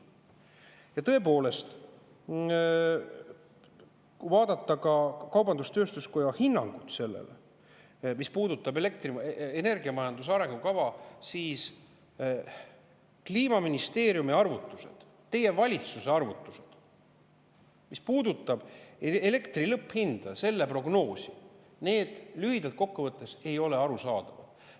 Ja tõepoolest, kui vaadata kaubandus-tööstuskoja hinnangut sellele, mis puudutab energiamajanduse arengukava, siis Kliimaministeeriumi arvutused, teie valitsuse arvutused, mis puudutavad elektri lõpphinna prognoosi, lühidalt kokku võttes ei ole arusaadavad.